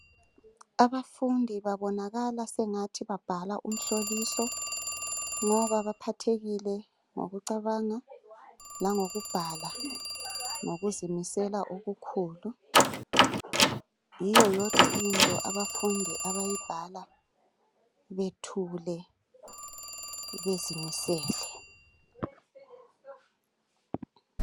Abafundi babonakala sengathi babhala umhloliso. Laba baphathekile ngokucabanga langokubhala ngokuzimisela okukhulu. Yiyo yodwa into abafundi abayibhala bethule, bezimisele.